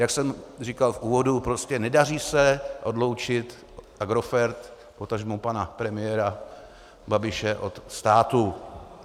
Jak jsem říkal v úvodu, prostě nedaří se odloučit Agrofert, potažmo pana premiéra Babiše, od státu.